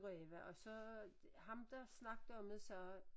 Ræve og så ham der snakkede om det sagde